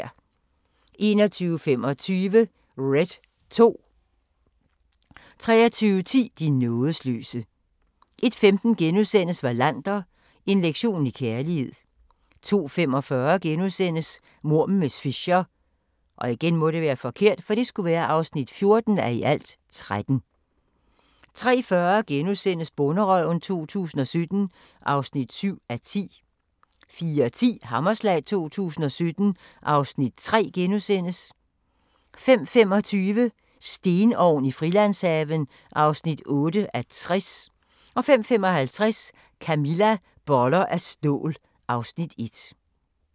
21:25: Red 2 23:10: De nådesløse 01:15: Wallander: En lektion i kærlighed * 02:45: Mord med miss Fisher (14:13)* 03:40: Bonderøven 2017 (7:10)* 04:10: Hammerslag 2017 (Afs. 3)* 05:25: Stenovn i Frilandshaven (8:60) 05:55: Camilla - boller af stål (Afs. 1)